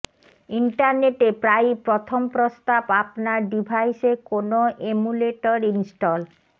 ইন্টারনেটে প্রায়ই প্রথম প্রস্তাব আপনার ডিভাইসে কোনো এমুলেটর ইনস্টল